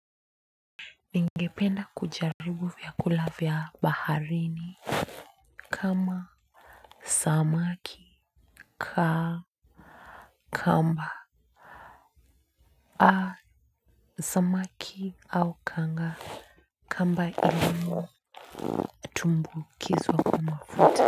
Ningependa kujaribu vyakula vya baharini kama samaki ka kamba a samaki au kanga kamba ilumu tumbukizwa kwa mafuta.